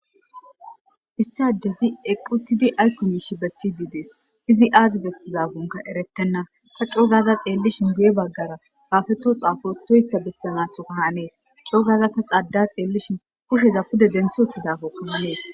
issadezi eqqutidi aykomishi bessi didees izi aadi bessizagunka eretenna ta coogaza xeellishin guye baggara saafetu xaafoetoyssa bessa naatho kahaanees cogaza ta xada xeellishin kusheza pude denthuothidafo kahanees